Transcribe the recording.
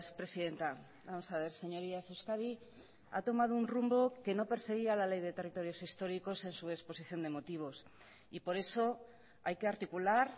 presidenta vamos a ver señorías euskadi ha tomado un rumbo que no perseguía la ley de territorios históricos en su exposición de motivos y por eso hay que articular